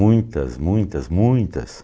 Muitas, muitas, muitas.